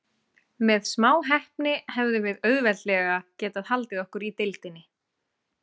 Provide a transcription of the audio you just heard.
Með smá heppni hefðum við auðveldlega getað haldið okkur í deildinni.